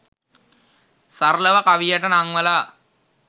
සරලව කවියට නංවලා